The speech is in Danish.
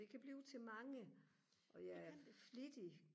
det kan blive til mange og jeg er flittig